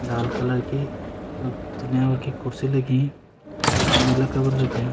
लाल colour की दुनिया भर की कुर्सी लगीं तोपर नीला कवर लग्याँ।